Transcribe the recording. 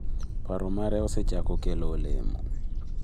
Paro mare osechako kelo olemo.